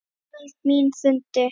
Veröld mín hrundi.